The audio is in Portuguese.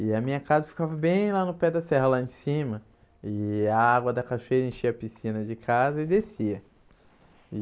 E a minha casa ficava bem lá no pé da serra, lá em cima, e a água da cachoeira enchia a piscina de casa e descia.